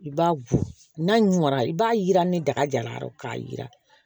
I b'a gosi n'a ɲuna i b'a yira ni daga jara k'a yira